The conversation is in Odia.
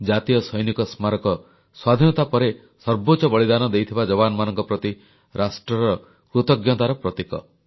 ଜାତୀୟ ସୈନିକ ସ୍ମାରକୀ ସ୍ୱାଧୀନତା ପରେ ସର୍ବୋଚ୍ଚ ବଳିଦାନ ଦେଇଥିବା ଯବାନମାନଙ୍କ ପ୍ରତି ରାଷ୍ଟ୍ରର କୃତଜ୍ଞତାର ପ୍ରତୀକ